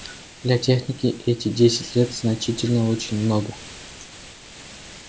для техники эти десять лет значительно очень много